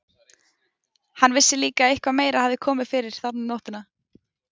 Og hann vissi líka að eitthvað meira hafði komið fyrir þarna um nóttina.